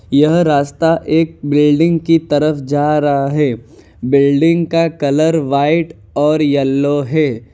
यह रास्ता एक बिल्डिंग की तरफ जा रहा है बिल्डिंग का कलर व्हाइट और येलो है।